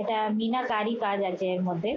এটা মিনার কারি কাজ আছে এর মধ্যে।